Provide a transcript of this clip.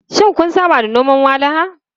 Shin kun saba da noman walahan?